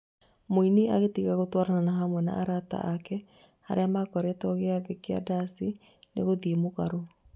Mũini angĩtiga gũtwarana hamwe na aini arata ake arĩa makoretwo gĩathĩ kĩa ndaci nĩ gũthiĩ mũgarũ